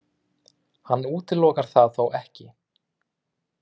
Hann útilokar það þó ekki